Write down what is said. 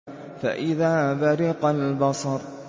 فَإِذَا بَرِقَ الْبَصَرُ